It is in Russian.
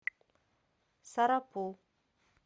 сарапул